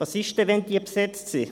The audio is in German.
Was ist, wenn diese besetzt sind?